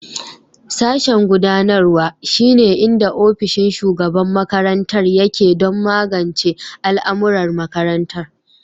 Sashen gudanarwa, shine inda ofishin shugaban makarantar yake don magance al'amuran makarantar.